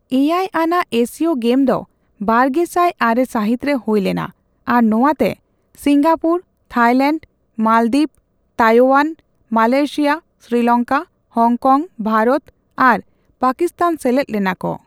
ᱮᱭᱟᱭ ᱟᱱᱟᱜ Asia game ᱫᱚ ᱵᱟᱨᱜᱮᱥᱟᱭ ᱟᱨᱮ ᱥᱟᱹᱦᱤᱛᱨᱮ ᱦᱳᱭ ᱞᱮᱱᱟ ᱟᱨ ᱱᱚᱣᱟᱛᱮ Singapore, Thailand, Maldives, Taiwan, Malaysia, Sri Lanka, Hong Kong, Bharat ᱟᱨ ᱯᱟᱠᱤᱥᱛᱟᱱ ᱥᱮᱞᱮᱫ ᱞᱮᱱᱟᱠᱚ ᱾